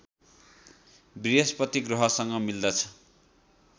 वृहस्पति ग्रहसँग मिल्दछ